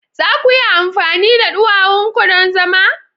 Za ku iya amfani da duwawun ku don zama?